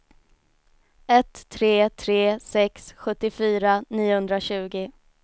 ett tre tre sex sjuttiofyra niohundratjugo